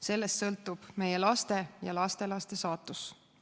Sellest sõltub meie laste ja lastelaste saatus.